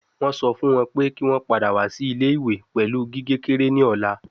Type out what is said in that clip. Wọn sọ fun wọn pe ki wọn pada wa si ile-iwe pẹlu gige kekere ni ọla